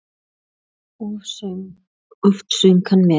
Oft söng hann með.